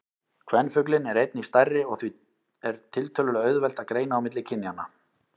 Kvenfuglinn er einnig stærri og því er tiltölulega auðvelt að greina á milli kynjanna.